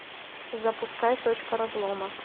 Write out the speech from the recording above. запускай точка разлома